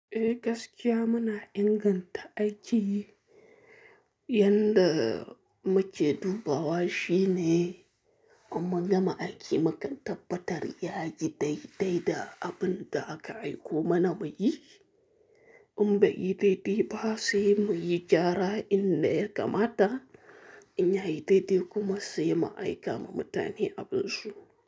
Eh gaskiya muna inganta aiki, yanda muke dubawa shine mun gama aiki mu kan tabbatar yayi daidai da abin da aka aiko mana muyi. In bai yi daidai ba sai muyi gyara in da ya kamata in yayi daidai kuma sai mu aika ma mutane abin su.